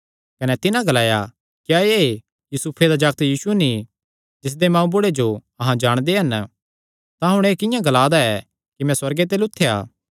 कने तिन्हां ग्लाया क्या एह़ यूसुफे दा जागत यीशु नीं जिसदे मांऊ बुढ़े जो अहां जाणदे हन तां हुण एह़ किंआं ग्ला दा ऐ कि मैं सुअर्गे ते लुत्थेया